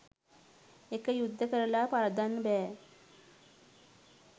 එක යුද්ධ කරලා පරද්දන්න බෑ